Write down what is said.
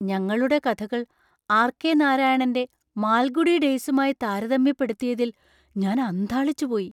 ഞങ്ങളുടെ കഥകൾ R. K. നാരായണന്‍റെ മാൽഗുഡി ഡേയ്‌സുമായി താരതമ്യപ്പെടുത്തിയതിൽ ഞാൻ അന്ധാളിച്ചുപോയി!